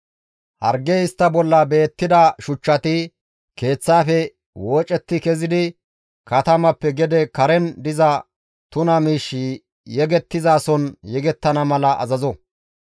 hargey istta bolla beettida shuchchati keeththaafe woocetti kezidi katamappe gede karen diza tuna miish yegettizason yegettana mala azazo.